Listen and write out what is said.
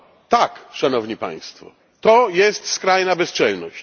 Tak, szanowni Państwo, to jest skrajna bezczelność.